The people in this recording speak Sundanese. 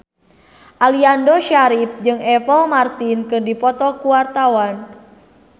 Aliando Syarif jeung Apple Martin keur dipoto ku wartawan